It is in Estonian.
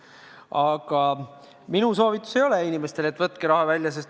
Aga minu soovitus inimestele ei ole, et võtke raha välja.